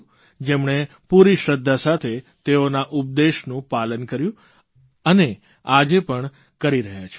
જેમણે પૂરી શ્રદ્ધા સાથે તેઓના ઉપદેશનું પાલન કર્યું અને આજે પણ કરી રહ્યા છે